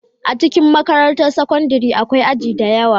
A cikin makarantar sakandare akwai aji da yawa